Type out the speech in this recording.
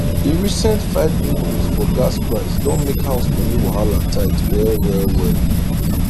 di recent 5 increase for gas price don make house money wahala tight well well well